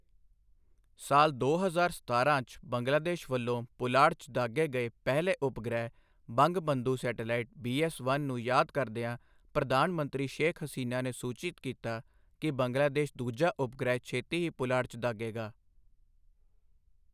ਸਾਲ ਦੋ ਹਜ਼ਾਰ ਸਤਾਰਾਂ 'ਚ ਬੰਗਲਾਦੇਸ਼ ਵੱਲੋਂ ਪੁਲਾੜ 'ਚ ਦਾਗ਼ੇ ਗਏ ਪਹਿਲੇ ਉਪਗ੍ਰਹਿ ਬੰਗਬੰਧੂ ਸੈਟੇਲਾਇਟ ਬੀਐੱਸ1 ਨੂੰ ਯਾਦ ਕਰਦਿਆਂ ਪ੍ਰਧਾਨ ਮੰਤਰੀ ਸ਼ੇਖ਼ ਹਸੀਨਾ ਨੇ ਸੂਚਿਤ ਕੀਤਾ ਕਿ ਬੰਗਲਾਦੇਸ਼ ਦੂਜਾ ਉਪਗ੍ਰਹਿ ਛੇਤੀ ਹੀ ਪੁਲਾੜ 'ਚ ਦਾਗ਼ੇਗਾ।